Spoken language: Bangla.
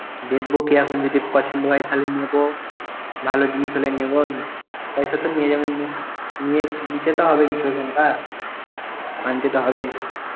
দেখব কি এখন যদি পছন্দ হয় তাহলে নেব । ভাল জিনিস জিনিস হলে নেব। পয়সা তো নিয়ে যাব~ নিয়ে~ নিতে তো হবে কিছুতো একটা। আনতে তো হবেই।